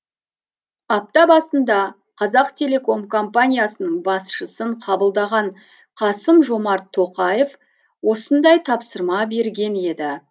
апта басында қазақтелеком компаниясының басшысын қабылдаған қасым жомарт тоқаев осындай тапсырма берген еді